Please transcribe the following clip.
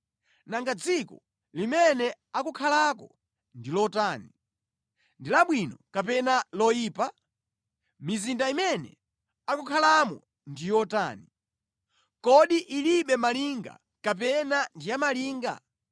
Nanga dziko limene akukhalako ndi lotani? Ndi labwino kapena loyipa? Mizinda imene akukhalamo ndi yotani? Kodi ilibe malinga kapena ndi ya malinga?